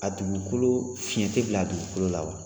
A dugukolo fiɲɛ te bila a dugukolo la wa?